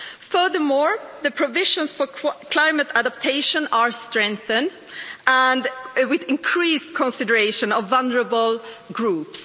Furthermore, the provisions for climate adaptation have been strengthened, with increased consideration of vulnerable groups.